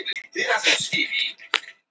Ég á marga dulbúninga.